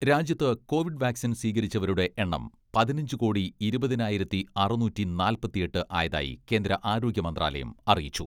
രാജ്യത്ത് covid vaccine സ്വീകരിച്ചവരുടെ എണ്ണം പതിനഞ്ച് കോടി ഇരുപതിനായിരത്തി അറുന്നൂറ്റി നാല്പത്തിയെട്ട് ആയതായി കേന്ദ്ര ആരോഗ്യ മന്ത്രാലയം അറിയിച്ചു.